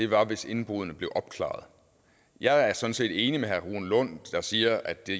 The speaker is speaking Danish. var hvis indbruddene blev opklaret jeg er sådan set enig med herre rune lund der siger at det